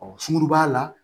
sunkuruba la